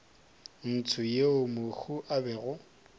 ntsho yeo mohu a bego